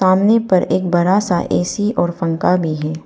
सामने पर एक बड़ा सा ऐ_सी और पंखा भी है।